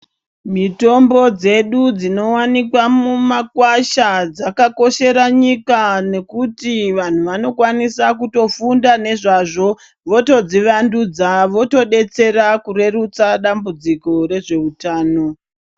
Mitombo dzedu dzinowanikwa mumakwasha dzakakoshera nyika nekuti vanhu vanokwanisa kutofunda nezvazvo votodzivandudza votodetsera kurerutsa dambudziko rezveutano.